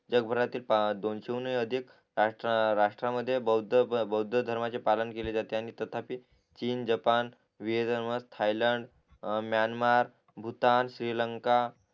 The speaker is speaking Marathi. जग भरातील दोनशेहुनही अधीक राष्ट्रा राष्ट्रामध्ये बौद्ध बौद्ध बौद्धधर्माचे पालन केले जाते आणि तथापि चीन Japan Thailand Myanmar Bhutan Sri Lanka